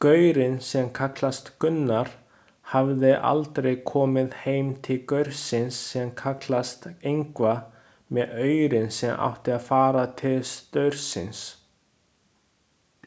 Gaurinn sem kallast Gunnar hafði aldrei komið heim til gaursins sem kallast Ingvar með aurinn sem átti að fara til staursins.